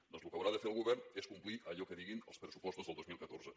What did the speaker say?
doncs el que haurà de fer el govern és complir allò que diguin els pressupostos del dos mil catorze